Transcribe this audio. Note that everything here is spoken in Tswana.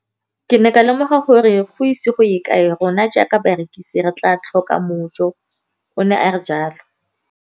Ke ne ka lemoga gore go ise go ye kae rona jaaka barekise re tla tlhoka mojo, o ne a re jalo.